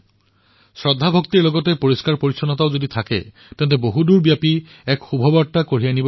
আয়োজনত শ্ৰদ্ধাৰ সৈতে স্বচ্ছতাও বিৰাজমান হব আৰু দূৰদুৰণিলৈ এই সুবাৰ্তা প্ৰচাৰিত হব